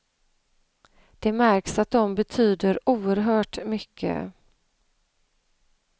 Det märks att de betyder oerhört mycket.